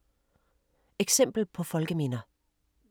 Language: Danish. Eksempler på folkeminder